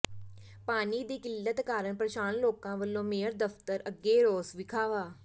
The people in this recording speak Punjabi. ਪਾਣੀ ਦੀ ਕਿੱਲਤ ਕਾਰਨ ਪ੍ਰੇਸ਼ਾਨ ਲੋਕਾਂ ਵੱਲੋਂ ਮੇਅਰ ਦਫਤਰ ਅੱਗੇ ਰੋਸ ਵਿਖਾਵਾ